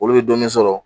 Olu bɛ dɔɔnin sɔrɔ